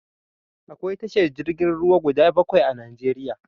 Akwai tashar jirgin ruwa guda bakwai a Najeriya.